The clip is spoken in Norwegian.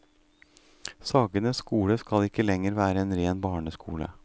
Sagene skole skal ikke lenger være en ren barneskole.